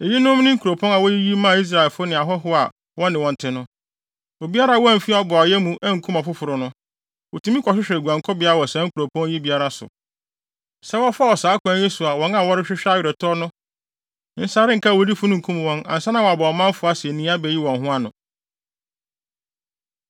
Eyinom ne nkuropɔn a woyiyi maa Israelfo ne ahɔho a wɔne wɔn te no. Obiara a wamfi ɔboayɛ mu ankum ɔfoforo no, otumi kɔhwehwɛ guankɔbea wɔ saa nkuropɔn yi biara so. Sɛ wɔfa saa ɔkwan yi so a wɔn a wɔrehwehwɛ aweretɔ no nsa renka awudifo no nkum wɔn ansa na wɔaba ɔmanfo asennii abeyi wɔn ho ano.